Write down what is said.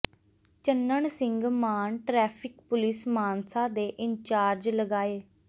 Channan Singh Maan traffic police Mansa ਦੇ in charge ਲਗਾਏ